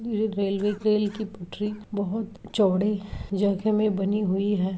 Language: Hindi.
ये रेलवे रेल की पटरी बहुत चौड़े जगह मे बनी हुई है।